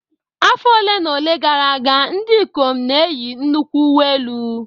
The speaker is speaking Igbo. Afọ ole na ole gara aga, ndị ikom n'eyi nnukwu uwe elu